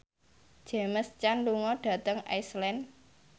James Caan lunga dhateng Iceland